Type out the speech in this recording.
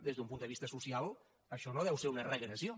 des d’un punt de vista social això no deu ser una regressió